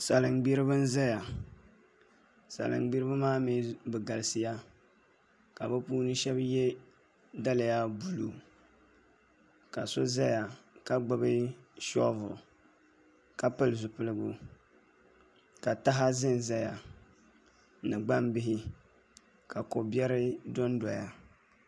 Salin gbiribi n ʒɛya salin gbiribi maa mii bi galisiya ka bi shab yɛ daliya buluu ka so ʒɛya ka gbubi shoovul ka pili zipiligu ka taha ʒɛnʒɛya ni gbambihi ka ko biɛri dondoya